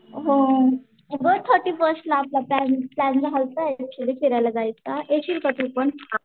हो ऊगाच छोटी पोष्टला आपला टाईम विचारायला जायचा येशील का तू पण?